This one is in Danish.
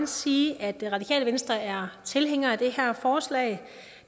sige at det radikale venstre er tilhængere af det her forslag